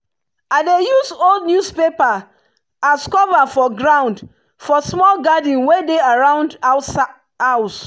i dey use old newspaper as cover for ground for small garden wey dey around house.